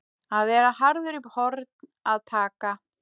Að vera harður í horn að taka